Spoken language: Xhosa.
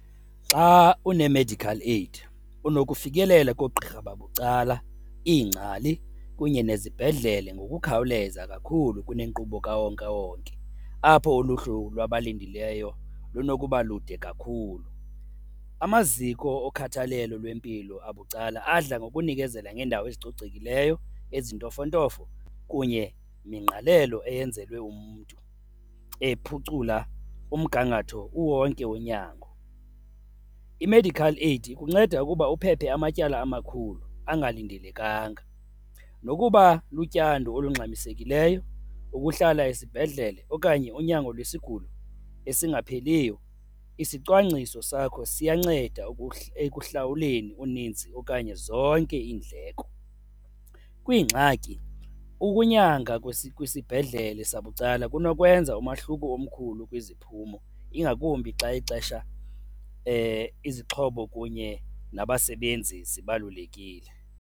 Xa une-medical aid unokufikelela koogqirha babucala, iingcali kunye nezibhedlele ngokukhawuleza kakhulu kunenkqubo kawonkewonke apho uluhlu lwabalindileyo lunokuba lude kakhulu. Amaziko okhathalelo lwempilo abucala adla ngokunikezela ngeendawo ezicocekileyo, ezintofontofo kunye nengqalelo eyenzelwe umntu ephucula umgangatho kuwonke unyango. I-medical aid ikunceda ukuba uphephe amatyala amakhulu angalindelekanga nokuba lutyando olungxamisekileyo, ukuhlala esibhedlele okanye unyango lwesigulo esingapheliyo, isicwangciso sakho siyanceda ekuhlawuleni uninzi okanye zonke iindleko. Kwiingxaki, ukunyanga kwisibhedlele sabucala kunokwenza umohluko omkhulu kwiziphumo, ingakumbi xa ixesha izixhobo kunye nabasebenzi zibalulekile.